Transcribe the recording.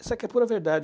Isso aqui é pura verdade.